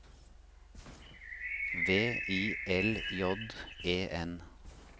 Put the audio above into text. V I L J E N